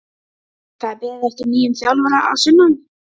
Það er beðið eftir nýjum þjálfara að sunnan.